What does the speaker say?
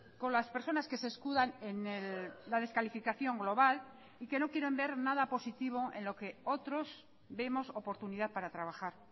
con las personas que se escudan en la descalificación global y que no quieran ver nada positivo en lo que otros vemos oportunidad para trabajar